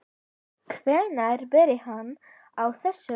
Hvenær byrjaði hann á þessu?